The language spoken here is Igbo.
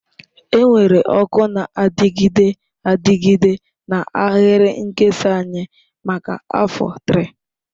Enwere ọkụ na-adịgide adịgide na ahịrị nkesa anyị maka afọ 3.